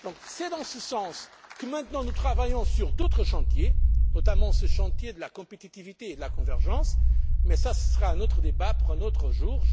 C'est dans ce sens que nous travaillons maintenant sur d'autres chantiers, notamment sur ce chantier de la compétitivité et de la convergence, mais cela, ce sera un autre débat pour un autre jour.